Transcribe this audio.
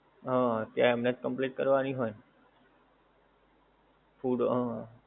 હમ હા તેમને જ complete કરવાની હોય ને food અમ